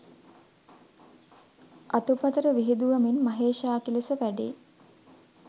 අතුපතර විහිදුවමින් මහේශාක්‍ය ලෙස වැඩෙයි.